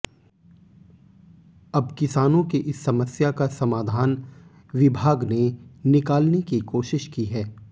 अब किसानों की इस समस्या का समाधान विभाग ने निकालने की कोशिश की है